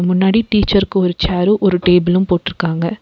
முன்னாடி டிச்சர்க்கு ஒரு சேர்ரு ஒரு டேபிளு போட்ருக்காங்க.